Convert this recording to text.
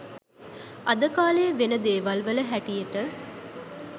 අද කාලේ වෙන දේවල් වල හැටියට